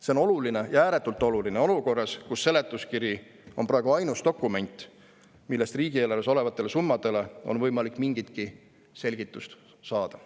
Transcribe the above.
See on oluline ja ääretult oluline olukorras, kus seletuskiri on praegu ainus dokument, millest riigieelarves olevatele summadele on võimalik mingitki selgitust saada.